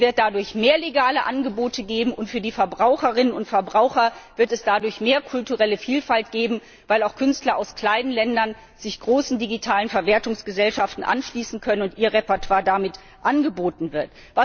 Es wird dadurch mehr legale Angebote geben und für die Verbraucherinnen und Verbraucher wird es dadurch mehr kulturelle Vielfalt geben, weil auch Künstler aus kleinen Ländern sich großen digitalen Verwertungsgesellschaften anschließen können und ihr Repertoire damit angeboten wird.